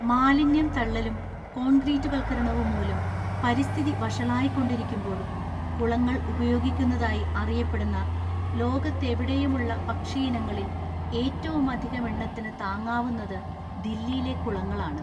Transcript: മാലിന്യം തള്ളലും കോൺക്രീറ്റുവല്‍ക്കരണവും മൂലം പരിസ്ഥിതി വഷളായിക്കൊണ്ടിരിക്കുമ്പോഴും കുളങ്ങൾ ഉപയോഗിക്കുന്നതായി അറിയപ്പെടുന്ന ലോകത്തെവിടെയുമുള്ള പക്ഷിയിനങ്ങളില്‍ ഏറ്റമധികമെണ്ണത്തിനു താങ്ങാവുന്നത് ദില്ലിയിലെ കുളങ്ങളാണ്.